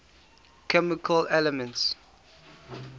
chemical elements